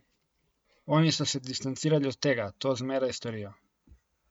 Oni so se distancirali od tega, to zmeraj storijo.